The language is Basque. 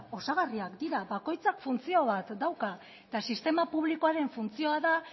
osagarriak dira bakoitzak funtzio bat dauka eta sistema publikoaren funtzioa da